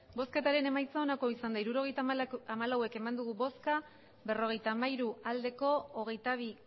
hirurogeita hamalau eman dugu bozka berrogeita hamairu bai hogeita bi